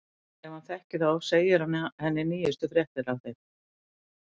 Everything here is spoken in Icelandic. Ef hann þekkir þá segir hann henni nýjustu fréttir af þeim.